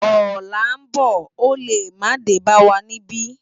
Òlá n bò ó lé má dé bá wá nibi